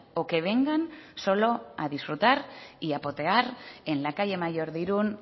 o que vengan solo a disfrutar y a potear en la calle mayor de irún